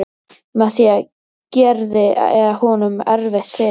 Með því gerði ég honum erfitt fyrir.